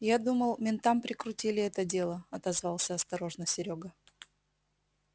я думал ментам прикрутили это дело отозвался осторожно серёга